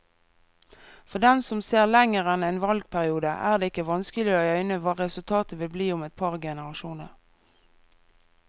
For dem som ser lenger enn en valgperiode, er det ikke vanskelig å øyne hva resultatet vil bli om et par generasjoner.